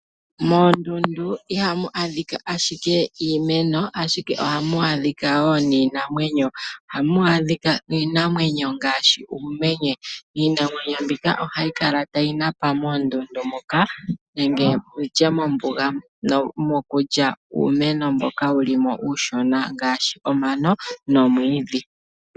Moondundu ihamu adhika ashike iimeno, ashike ohamu adhika wo niinamwenyo . Ohamu adhika iinamwenyo ngaashi uumenye. Iinamwenyo mbika ohayi kala tayi napa moondundu moka nenge mombuga, mokulya uumeno mboka uushona ngaashi omano nomwiidhi.